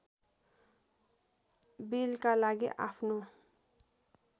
बिलका लागि आफ्नो